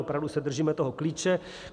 Opravdu se držíme toho klíče.